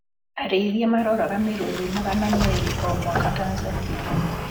Arĩithia maroraga mĩruthi magana merĩ o mwaka Tanzania